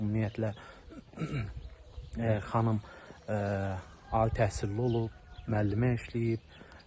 Ümumiyyətlə xanım ali təhsilli olub, müəllimə işləyib.